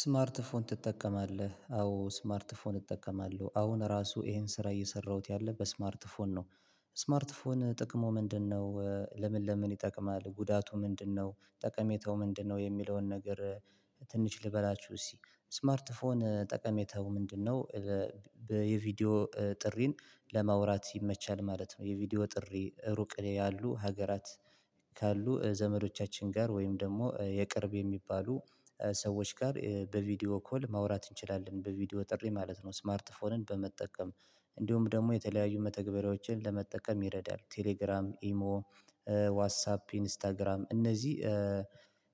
ስማርት ፎን ትጠቀማለህ አዎ ስማርት ፎን እጠቀማለሁ አሁን ራሱ ይሄን ስራ እየሰራሁት ያለው በስማርት ፎን ነው ስማርት ስልክ ጥቅሙ ምንድነው? ለምን ለምን ይጠቅማል ጉዳቱ ምንድነው? ጠቀሜታው ምንድነው? የሚለውን ነገር ትንሽ ልበላችሁ። እሺ ስማርት ፎን ጠቀሜታው ምንድነው? የቪዲዮ ጥሪን ለማውራት ይመቻል ማለት ነው የቪዲዮ ጥሪ ሩቅ ያሉ ሀገራት ካሉ ዘመዶቻችን ጋር ወይም ደግሞ የቅርብ የሚባሉ ሰዎች ጋር በቪዲዮ ኮል ማውራት እንችላለን በቪዲዮ ጥሪ ማለት ነው። ስማርት ፎንን በመጠቀም እንዲሁም ደግሞ የተለያዩ መተግበሪያዎችን ለመጠቀም ይረዳል ቴሌግራም ኢሞ ዋትሳፕ ኢንስታግራም እነዚህ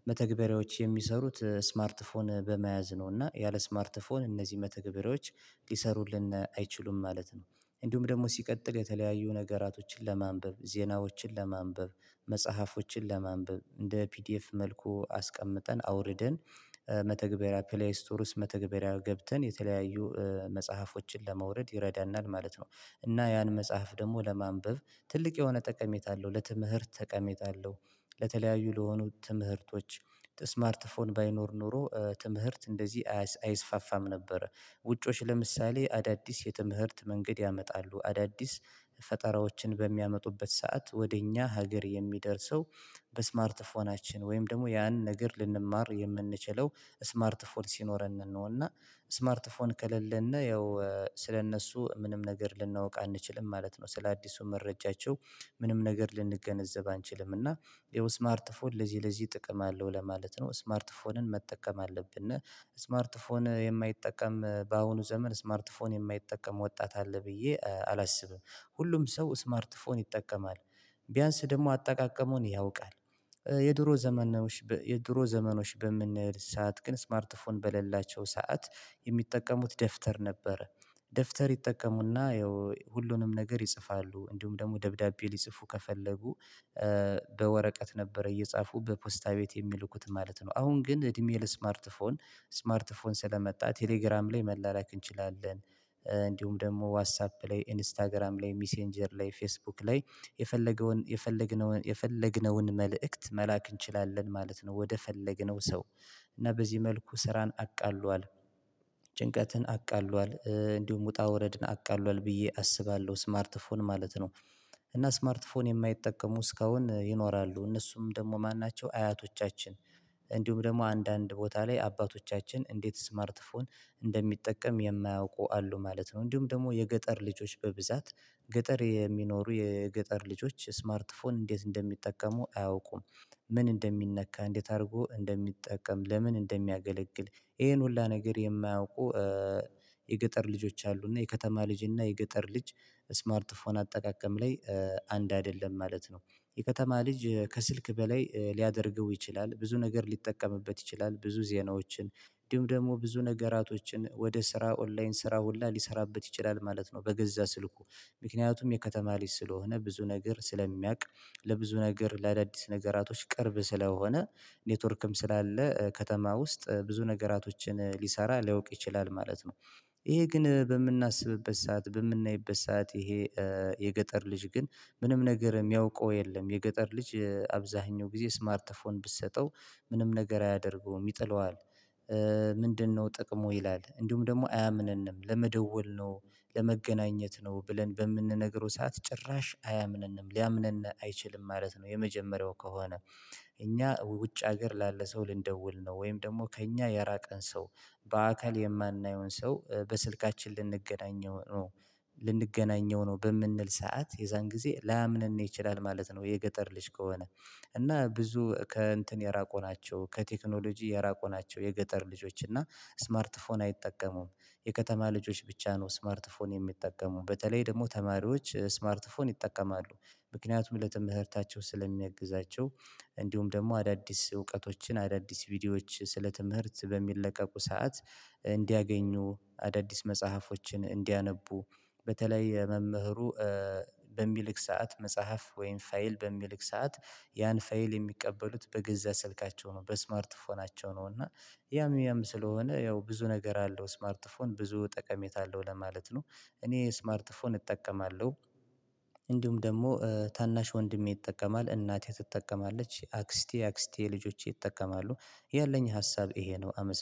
መተግበሪያዎች የሚሰሩት ስማርት ፎን በመያዝ ነው። እና ያለ ስማርት ፎን እነዚህ መተግበሪያዎች ሊሰሩልን አይችሉም ማለት ነው። እንዲሁም ደግሞ ሲቀጥል የተለያዩ ነገራቶችን ለማንበብ ዜናዎችን ለማንበብ መጽሐፎችን ለማንበብ እንደ ፒዲኤፍ መልኩ አስቀምጠን አውርደን መተግበሪያ ፕሌይ ስቶር ውስጥ መተግበሪያ ገብተን የተለያዩ መጽሐፎችን ለማውረድ ይረዳናል ማለት ነው። እና ያን መጽሐፍ ደግሞ ለማንበብ ትልቅ የሆነ ጠቀሜታ አለው ለትምህርት ጠቀሜታ አለው። ለተለያዩ ለሆኑት ትምህርቶች ስማርት ፎን ባይኖር ኖሮ ትምህርት እንደዚህ አይስፋፋም ነበረ። ውጮች ለምሳሌ አዳዲስ የትምህርት መንገድ ያመጣሉ አዳዲስ ፈጠራዎችን በሚያመጡበት ሰዓት ወደ እኛ ሀገር የሚደርሰው በስማርት ስልክናችን ወይም ደግሞ ያን ነገር ልንማር የምንችለው ስማርት ስልክ ሲኖረን ነው። እና ስማርት ፎን ከሌለን ነው ያው ስለእነሱ ምንም ነገር ልናውቅ አንችልም ማለት ነው። ስለአዲሱ መረጃቸው ምንም ነገር ልንገነዘብ አንችልም እና ይኸው ስማርት ፎር ለዚህ ለዚህ ጥቅም አለው ለማለት ነው። ስማርት ፎንን መጠቀም አለብን እና ስማርት ፎን የማይጠቀም በአሁኑ ዘመን ስማርት ፎን የማይጠቀም ወጣት አለ ብዬ አላስብም። ሁሉም ሰው ስማርት ስልክ ይጠቀማል። ቢያንስ ደግሞ አጠቃቀሙን ያውቃል። የድሮ ዘመናዎች የድሮ ዘመኖች በምንል ሰዓት ግን ስማርት ፎን በሌላቸው ሰዓት የሚጠቀሙት ደፍተር ነበር። ደፍተር ይጠቀሙና ያው ሁሉንም ነገር ይጽፋሉ እንዲሁም ደግሞ ደብዳቤ ሊጽፉ ከፈለጉ በወረቀት ነበረ እየጻፉ በፖስታ ቤት የሚልኩት ማለት ነው። አሁን ግን እድሜ ለስማርት ስማርት ፎን ስለመጣ ቴሌግራም ላይ መላላክ እንችላለን። እንዲሁም ደግሞ ዋትሳፕ ላይ ኢንስታግራም ላይ ሚሴንጀር ላይ ፌስቡክ ላይ የፈለገውን የፈለግነውን የፈለግነውን መልእክት መላክ እንችላለን ማለት ነው። ወደ ፈለግነው ሰው እና በዚህ መልኩ ስራን አቃለሁ አቃሏል ጭንቀትን አቃሏል እንዲሁም ውጣ ውረድን አቃሏል ብዬ አስባለሁ ስማርትፎን ማለት ነው። እና ስማርት ስልክ የማይጠቀሙ እስካሁን ይኖራሉ እነሱም ደግሞ ማን ናቸው? አያቶቻችን እንዲሁም ደግሞ አንዳንድ ቦታ ላይ አባቶቻችን እንዴት ስማርት ፎን እንደሚጠቀም የማያውቁ አሉ ማለት ነው። እንዲሁም ደግሞ የገጠር ልጆች በብዛት ገጠር የሚኖሩ የገጠር ልጆች ስማርት ፎን እንዴት እንደሚጠቀሙ አያውቁም። ምን እንደሚነካ እንዴት አድርጎ እንደሚጠቀም ለምን እንደሚያገለግል ይሄን ሁሉ ነገር የማያውቁ የገጠር ልጆች አሉ። እና የከተማ ልጅ እና የገጠር ልጅ ስማርት ፎን አጠቃቀም ላይ አንድ አይደለም ማለት ነው። የከተማ ልጅ ከስልክ በላይ ሊያደርገው ይችላል ብዙ ነገር ሊጠቀምበት ይችላል ብዙ ዜናዎችን እንዲሁም ደግሞ ብዙ ነገራቶችን ወደ ስራ ኦንላይን ስራ ሁላ ሊሰራበት ይችላል ማለት ነው። በገዛ ስልኩ ምክንያቱም የከተማ ሊስት ስለሆነ ብዙ ነገር ስለሚያውቅ ለብዙ ነገር ለአዳዲስ ነገራቶች ቅርብ ስለሆነ ኔትወርክም ስላለ ከተማ ውስጥ ብዙ ነገራቶችን ሊሰራ ሊያውቅ ይችላል ማለት ነው። ይሄ ግን በምናስብበት ሰዓት በምናይበት ሰዓት ይሄ የገጠር ልጅ ግን ምንም ነገር የሚያውቀው የለም። የገጠር ልጅ አብዛኛው ጊዜ ስማርት ፎን ብትሰጠው ምንም ነገር አያደርገውም ይጥለዋል። ምንድነው ጥቅሙ ይላል? እንዲሁም ደግሞ አያምንንም ለመደወል ነው ለመገናኘት ነው ብለን በምንነግረው ሰዓት ጭራሽ አያምንንም ሊያምንን አይችልም ማለት ነው። የመጀመሪያው ከሆነ እኛ ውጭ ሀገር ላለ ሰው ልንደውል ነው ወይም ደግሞ ከእኛ የራቀን ሰው በአካል የማናየውን ሰው በስልካችን ልንገናኘው ነው። ልንገናኘው ነው በምንል ሰዓት የዛን ጊዜ ላምንህ ነው ይችላል ማለት ነው። የገጠር ልጅ ከሆነ እና ብዙ ከእንትን የራቁ ናቸው ከቴክኖሎጂ የራቁ ናቸው። የገጠር ልጆች እና ስማርት ፎን አይጠቀሙም። የከተማ ልጆች ብቻ ነው ስማርት ፎን የሚጠቀሙ በተለይ ደግሞ ተማሪዎች ስማርት ፎን ይጠቀማሉ። ምክንያቱም ለተምህርታቸው ስለሚያግዛቸው እንዲሁም ደግሞ አዳዲስ እውቀቶችን አዳዲስ ቪዲዮዎች ስለ ትምህርት በሚለቀቁ ሰዓት እንዲያገኙ አዳዲስ መጽሐፎችን እንዲያነቡ በተለይ መምህሩ በሚልክ ሰዓት መጽሐፍ ወይም ፋይል በሚልክ ሰዓት ያን ፋይል የሚቀበሉት በገዛ ስልካቸው ነው በስማርት ስልካቸው ነው። እና ያም ያም ስለሆነ ያው ብዙ ነገር አለው ስማርት ስልክ ብዙ ጠቀሜታ አለው ለማለት ነው። እኔ ስማርት ስፎን እጠቀማለሁ። እንዲሁም ደግሞ ታናሽ ወንድሜ ይጠቀማል እናቴ ትጠቀማለች የአክስቴ አክስቴ ልጆቼ ይጠቀማሉ። ያለኝ ሀሳብ ይሄ ነው አመሰግናለሁ